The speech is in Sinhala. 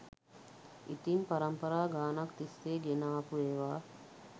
ඉතින් පරම්පරා ගානක් තිස්සේ ගෙන ආපු ඒවා